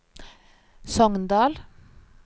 Sogndal